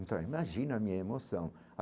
Então, imagina a minha emoção.